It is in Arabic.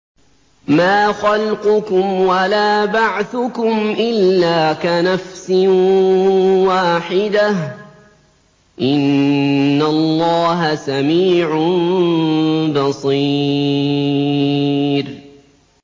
مَّا خَلْقُكُمْ وَلَا بَعْثُكُمْ إِلَّا كَنَفْسٍ وَاحِدَةٍ ۗ إِنَّ اللَّهَ سَمِيعٌ بَصِيرٌ